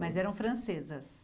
Mas eram francesas?